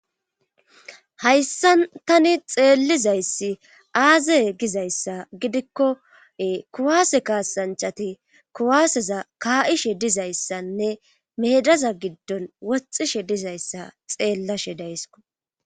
hayssa tani xeellizayssi aaze gizayssa gidikkoe kuwaase kaasanchati kuwaaseza kaa7ishe dizayssanne meedaza giddon woxishe dizayssa xeellashe daysko